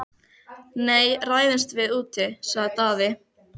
Nei, ræðumst við úti, sagði Daði.